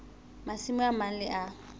masimo a mang le a